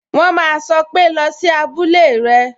"wọn ma sọ pé" Lọ sí abúlé rẹ!